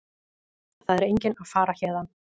Það er enginn að fara héðan.